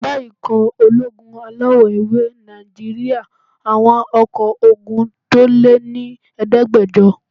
Ẹgbẹ́ ikọ̀ ológun alawọ̀-ewé Nàìjíríyà àwọn ọkọ́ ogun tó lé ní ẹ̀ẹ́dẹ́gbàjọ